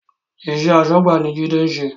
Iṣẹ́ asọ́gbà ni Jide ń ṣe